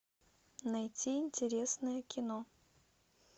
найти интересное кино